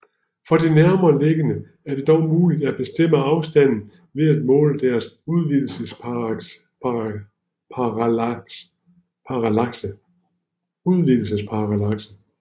For de nærmest liggende er det dog muligt at bestemme afstanden ved at måle deres udvidelsesparallakse